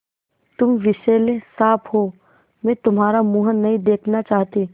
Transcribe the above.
तुम विषैले साँप हो मैं तुम्हारा मुँह नहीं देखना चाहती